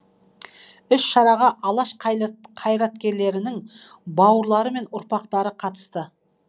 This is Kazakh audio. іс шараға алаш қайраткерінің бауырлары мен ұрпақтары қатысты